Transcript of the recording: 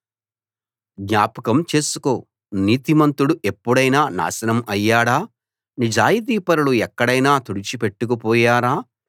జ్ఞాపకం చేసుకో నీతిమంతుడు ఎప్పుడైనా నాశనం అయ్యాడా నిజాయితీపరులు ఎక్కడైనా తుడిచి పెట్టుకుపోయారా